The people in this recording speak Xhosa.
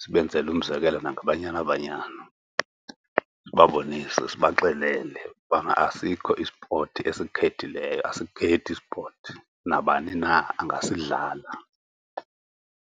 Sibenzele umzekelo nangeBanyana Babanya. Sibabonise, sibaxelele ubana asikho i-sport esikhethileyo. Asikhethi i-sport, nabani na angasidlala.